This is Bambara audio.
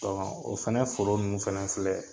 o fɛnɛ foro nunnu fɛnɛ filɛ